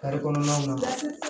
kɔnɔnaw na